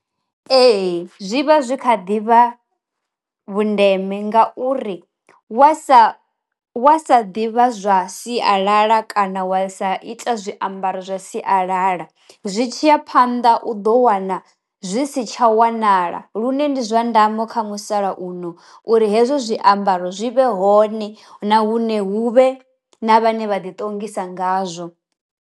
Ee zwi vha zwi kha ḓivha vhu ndeme ngauri wa sa wa sa ḓivha zwa sialala kana wa sa ita zwiambaro zwa sialala zwi tshiya phanḓa u ḓo wana zwi si tsha wanala lune ndi zwa ndamo kha musalauno uri hezwo zwiambaro zwi vhe hone na hune huvhe na vhane vha ḓi ṱongisa ngazwo.